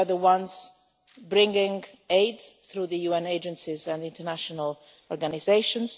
We are the ones bringing aid through the UN agencies and international organisations